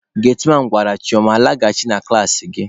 Getiman gwara Chioma, "laghachi na klasị gị!"